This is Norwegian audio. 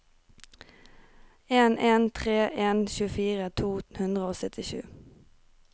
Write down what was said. en en tre en tjuefire to hundre og syttisju